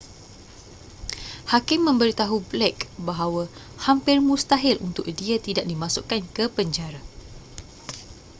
hakim memberitahu blake bahawa hampir mustahil untuk dia tidak dimasukkan ke penjara